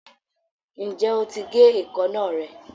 ǹjẹ́ o ti gé èékánná rẹ?